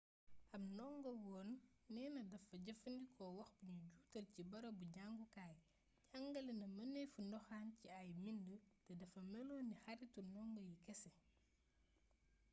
ab ndongowoon neena dafa jëfandikoo wax bu nu juutal ci bërëbu jàngukaay jàngale na mënefu ndoxaan ci ay bind te dafa melon ni xaritu ndongo yi kese